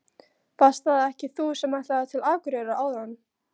Varst það ekki þú sem ætlaðir til Akureyrar áðan?